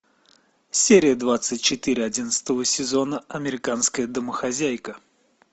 серия двадцать четыре одиннадцатого сезона американская домохозяйка